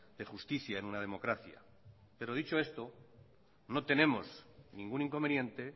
de justicia en una democracia pero dicho esto no tenemos ningún inconveniente